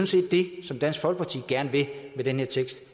set det som dansk folkeparti gerne vil med den her tekst